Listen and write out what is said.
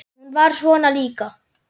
Hún var svona líka.